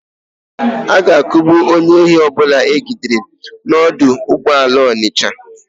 A ga-akugbu onye ohi ọbụla e jidere n'ọdụ ụgbọala Ọnịsha.